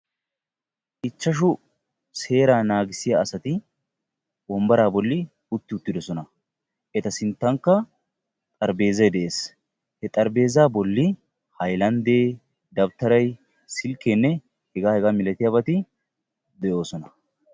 ichashshu seeraa naagissiya asati wombbaraa bolli utti uttidoosona. eta sinttankka xaraphpheezay de'ees. he xaraphpheeza bolli haylandde, dawutaaray, silkkenne hegaa hegaa malatiyaabati de'oosona.